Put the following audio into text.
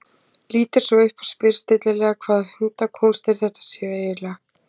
Lítur svo upp og spyr stillilega hvaða hundakúnstir þetta séu eiginlega.